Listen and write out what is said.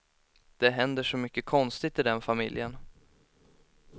Det händer så mycket konstigt i den familjen.